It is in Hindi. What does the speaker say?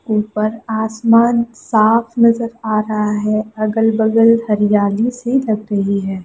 ऊपर आसमान साफ़ नज़र आ रहा है अगल-बगल हरियाली सी लग रही है।